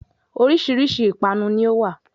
Oríṣìíríṣìí ìpanu ni ó wá.